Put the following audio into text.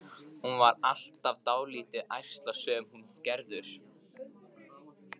Hún var alltaf dálítið ærslasöm, hún Gerður.